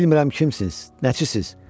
Bilmirəm kimsiz, nəçisiz.